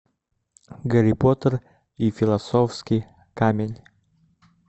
гарри поттер и философский камень